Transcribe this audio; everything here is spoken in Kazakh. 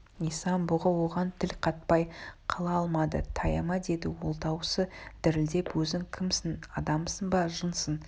исан-бұғы оған тіл қатпай қала алмады таяма деді ол даусы дірілдеп өзің кімсің адамсың ба жынсың